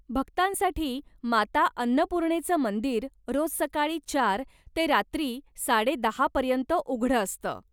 भक्तांसाठी माता अन्नपूर्णेचं मंदिर रोज सकाळी चार ते रात्री साडे दहा पर्यंत उघडं असतं.